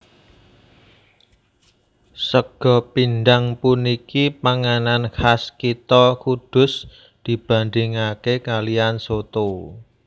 Sega pindhang puniki panganan kas kitha Kudus dibandingake kaliyan soto